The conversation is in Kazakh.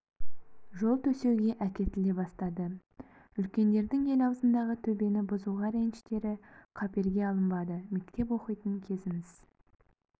жол төсеуге әкетіле бастады үлкендердің ел аузындағы төбені бұзуға реніштері қаперге алынбады мектеп оқитын кезіміз